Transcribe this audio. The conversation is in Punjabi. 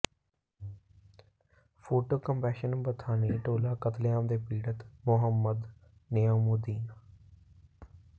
ਫੋਟੋ ਕੈਪਸ਼ਨ ਬਥਾਨੀ ਟੋਲਾ ਕਤਲੇਆਮ ਦੇ ਪੀੜਤ ਮੁਹਮੰਦ ਨਈਮੁੱਦੀਨ